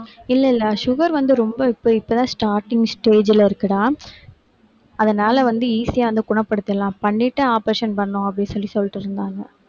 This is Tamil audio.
இல்லை இல்லை sugar வந்து ரொம்ப இப்ப இப்ப starting stage ல இருக்குடா அதனால வந்து easy ஆ வந்து குணப்படுத்திடலாம் பண்ணிட்டு operation பண்ணணும் அப்படின்னு சொல்லி சொல்லிட்டு இருந்தாங்க